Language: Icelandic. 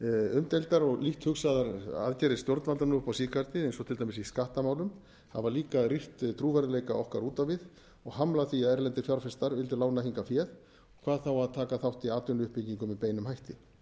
umdeildar og lítt hugsaðar aðgerðir stjórnvalda nú upp á síðkastið eins og til dæmis í skattamálum hafa líka rýrt trúverðugleika okkar út á við og hamlað því að erlendir fjárfestar vildu lána hingað fé hvað þá að taka þátt í atvinnuuppbyggingu með beinum hætti